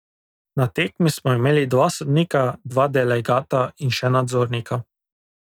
Na tekmi smo imeli dva sodnika, dva delegata in še nadzornika.